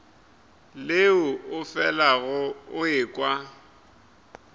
leo o felago o ekwa